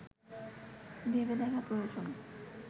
ভেবে দেখা প্রয়োজন